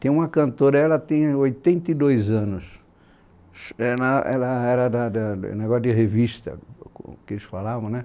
Tem uma cantora, ela tem pronta e dois anos, ela, ela era da da negócio de revista, que eles falavam, né?